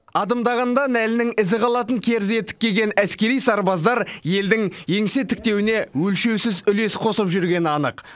адымдағанда нәлінің ізі қалатын керзі етік киген әскери сарбаздар елдің еңсе тіктеуіне өлшеусіз үлес қосып жүргені анық